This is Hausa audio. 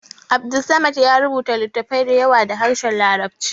Abdulsamad ya rubuta littafai da yawa da harshen larabci